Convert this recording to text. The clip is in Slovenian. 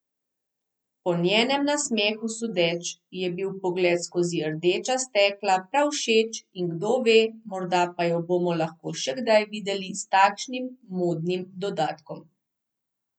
Po njenem nasmehu sodeč ji je bil pogled skozi rdeča stekla prav všeč in kdo ve, morda pa jo bomo lahko še kdaj videli s takšnim modnim dodatkom.